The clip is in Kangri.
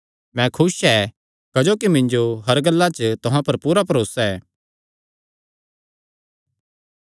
मैं खुस ऐ क्जोकि मिन्जो हर गल्ला च तुहां पर पूरा भरोसा ऐ